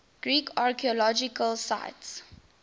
greek archaeological sites